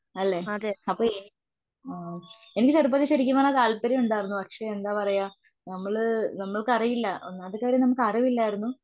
അല്ലേ അപ്പൊ ഏഹ് എനിക്ക് അതുപോലെ ശരിക്കും പറഞ്ഞാൽ താല്പര്യമുണ്ടായിരുന്നു. പക്ഷെ എന്താ പറയുക നമ്മള് നമ്മൾക്കറിയില്ല. ഒന്നാമത്തെ കാര്യം നമുക്കറിവില്ലാരുന്നു.